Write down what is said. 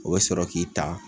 O bɛ sɔrɔ k'i ta